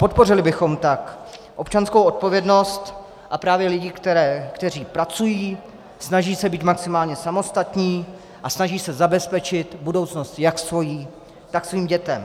Podpořili bychom tak občanskou odpovědnost a právě lidi, kteří pracují, snaží se být maximálně samostatní a snaží se zabezpečit budoucnost jak svoji, tak svých dětí.